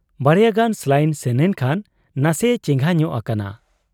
ᱵᱟᱨᱭᱟ ᱜᱟᱱ ᱥᱟᱞᱟᱭᱤᱱ ᱥᱮᱱᱮᱱ ᱠᱷᱟᱱ ᱱᱟᱥᱮᱭᱮ ᱪᱮᱸᱜᱷᱟ ᱧᱚᱜ ᱟᱠᱟᱱᱟ ᱾